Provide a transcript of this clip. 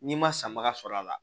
N'i ma sanbaga sɔrɔ a la